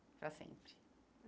Para sempre.